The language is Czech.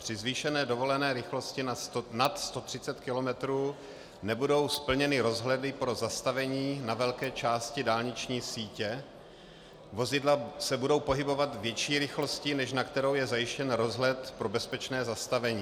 Při zvýšené dovolené rychlosti nad 130 km nebudou splněny rozhledy pro zastavení na velké části dálniční sítě, vozidla se budou pohybovat větší rychlostí, než na kterou je zajištěn rozhled pro bezpečné zastavení.